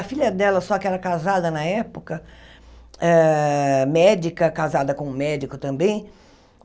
A filha dela só que era casada na época, hã médica, casada com um médico também.